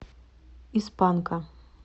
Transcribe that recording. из панка